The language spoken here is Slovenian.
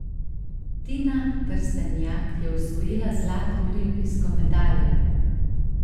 Tina Trstenjak je osvojila zlato olimpijsko medaljo!